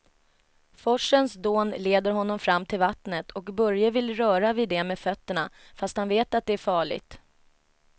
Forsens dån leder honom fram till vattnet och Börje vill röra vid det med fötterna, fast han vet att det är farligt.